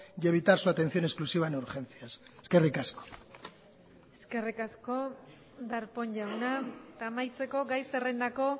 y evitar su atención exclusiva en urgencias eskerrik asko eskerrik asko darpón jauna eta amaitzeko gai zerrendako